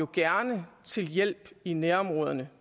gerne vil hjælpe i nærområderne